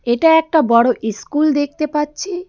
এটা একটা বড় ইস্কুল দেখতে পাচ্ছি।